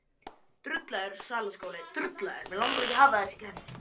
Gunnar Atli Gunnarsson: Fimm ár?